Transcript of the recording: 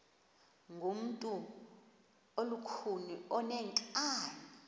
ngumntu olukhuni oneenkani